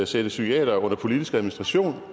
sætte psykiatere under politisk administration